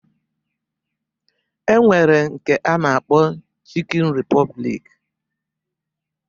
E nwere nke a na-akpọ Chịkịn Ripọblik